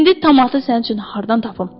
İndi tamatı sənin üçün hardan tapım?